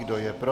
Kdo je pro?